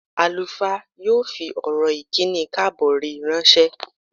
Àlùfáà yóò fi ọ̀rọ̀ ìkíni káàbọ̀ rẹ̀ ránṣẹ́.